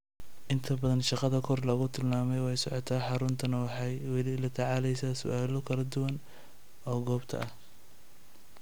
Inta badan shaqada kor lagu tilmaamay waa socotaa, xaruntuna waxay weli la tacaalaysaa su'aalo kala duwan oo goobtan ah.